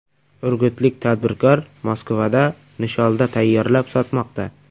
Urgutlik tadbirkor Moskvada nisholda tayyorlab sotmoqda.